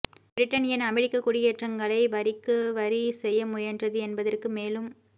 Britain ஏன் அமெரிக்க குடியேற்றக்காரர்களை வரிக்கு வரி செய்ய முயன்றது என்பதற்கு மேலும்